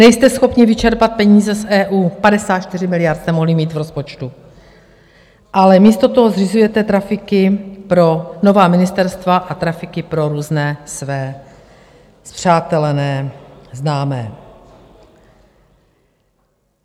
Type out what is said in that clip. Nejste schopni vyčerpat peníze z EU, 54 miliard jste mohli mít v rozpočtu, ale místo toho zřizujete trafiky pro nová ministerstva a trafiky pro různé své spřátelené známé.